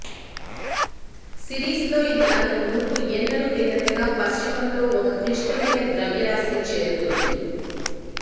సిరీస్లో ఇది అంతకు మునుపు ఎన్నడూ లేనంతగా పశ్చిమంలో ఒక క్లిష్టమైన ద్రవ్యరాశిని చేరుతుంది